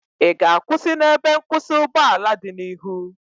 Ị ga-akwụsị n'ebe nkwụsị ụgbọala dị n'ihu?